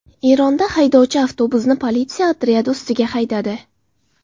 Eronda haydovchi avtobusni politsiya otryadi ustiga haydadi .